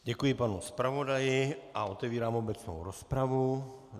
Děkuji panu zpravodaji a otevírám obecnou rozpravu.